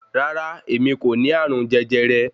Rárá, èmi n kò ní ààrùn jẹjẹrẹ